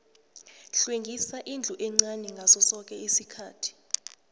hlwengisa indlu encani ngaso soke isikhathi